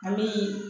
A bi